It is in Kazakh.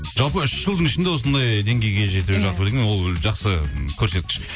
жалпы үш жылдың ішінде осындай деңгейге жету жалпы деген ол жақсы м көрсеткіш